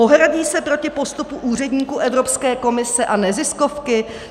Ohradí se proti postupu úředníků Evropské komise a neziskovky?